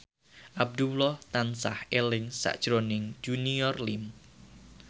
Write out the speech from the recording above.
Abdullah tansah eling sakjroning Junior Liem